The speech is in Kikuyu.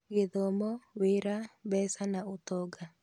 Gĩthomo, wĩra, mbeca na ũtonga